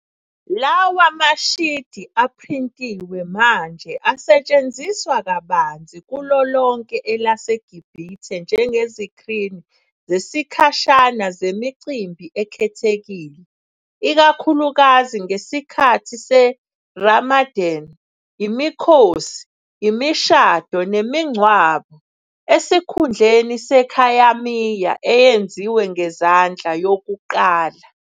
Lawa mashidi aphrintiwe manje asetshenziswa kabanzi kulo lonke elaseGibhithe njengezikrini zesikhashana zemicimbi ekhethekile, ikakhulukazi ngesikhathi seRamadan, imikhosi, imishado, nemingcwabo, esikhundleni sekhayamiya eyenziwe ngezandla yokuqala.